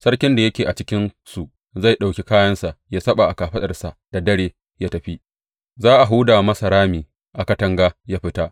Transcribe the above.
Sarkin da yake a cikinsu zai ɗauki kayansa ya saɓa a kafaɗarsa da dare ya tafi, za a huda masa rami a katanga ya fita.